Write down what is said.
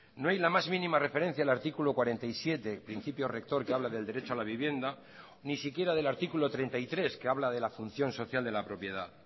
no hay la más mínima referencia al artículo cuarenta y siete principio rector que habla del derecho a la vivienda ni siquiera del artículo treinta y tres que habla de la función social de la propiedad